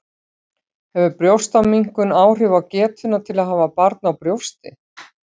Hefur brjóstaminnkun áhrif á getuna til að hafa barn á brjósti?